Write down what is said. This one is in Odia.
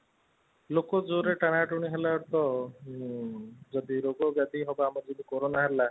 ଲୋକ ଜୋରେ ଟଣା ଟୁଣୀ ହେଲା ତ ଯଦି ରୋଗ ବ୍ୟାପୀ ହେଲା ଯଦି କାରୋନା ହେଲା